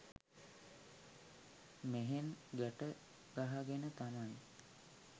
මෙහෙන් ගැට ගහගෙන තමයි